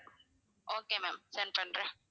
okay ma'am send பண்றேன்